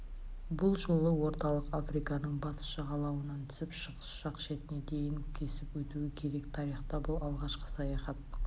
бұл жолы орталық африканың батыс жағалауынан түсіп шығыс жақ шетіне дейін кесіп өтуі керек тарихта бұл алғашқы саяхат